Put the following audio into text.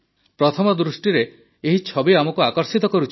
ପ୍ରଥମ ଦୃଷ୍ଟିରେ ଏହି ଛବି ଆମକୁ ଆକର୍ଷିତ କରୁଛି